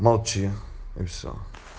молчи и все